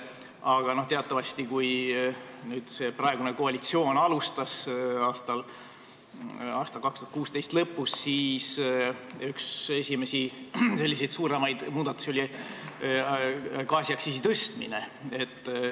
Aga teatavasti, kui praegune koalitsioon alustas 2016. aasta lõpus, siis oli üks esimesi suuremaid muudatusi gaasiaktsiisi tõstmine.